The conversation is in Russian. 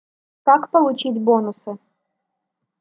как получить бонусы